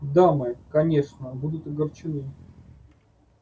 дамы конечно будут огорчены